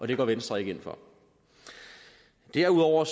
det går venstre ikke ind for derudover